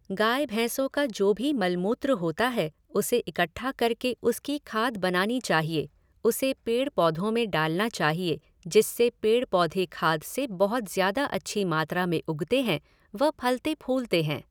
गाय भैंसों का जो भी मल मूत्र होता है उसे इकठ्ठा करके उसकी खाद बनानी चहिए, उसे पेड़ पौधों में डालना चाहिए जिससे पेड़ पौधे खाद से बहुत ज़्यादा अच्छी मात्रा में उगते हैं व फलते फूलते हैं।